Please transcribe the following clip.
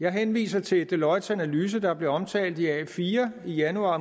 jeg henviser til deloittes analyse der blev omtalt i ugebrevet a4 i januar